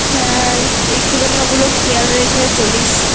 হ্যাঁ একটু খানি ওগুলো খেয়াল রেখেxa0চলিস